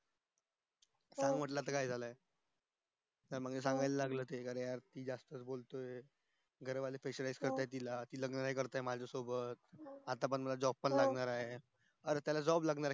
त्याला म्हंटल आता काय झालाय त्या मध्ये सांगायला लागला तो जास्त च बोलतेघर वाले बोलतायत तिला तिला लग्न करायचंय माझ्या सोबत आता पर्यंत job पण लागला नाय मला आता त्याला job लागणार ये